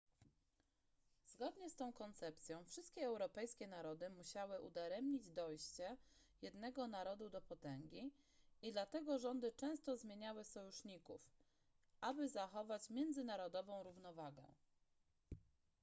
zgodnie z tą koncepcją wszystkie europejskie narody musiały udaremniać dojście jednego narodu do potęgi i dlatego rządy często zmieniały sojuszników aby zachować międzynarodową równowagę